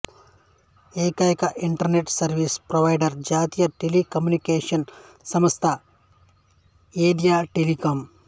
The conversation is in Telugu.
ఏకైక ఇంటర్నెటు సర్వీసు ప్రొవైడరు జాతీయ టెలికమ్యూనికేషను సంస్థ ఎథియో టెలికాం